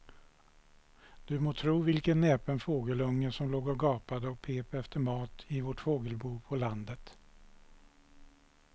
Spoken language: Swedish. Du må tro vilken näpen fågelunge som låg och gapade och pep efter mat i vårt fågelbo på landet.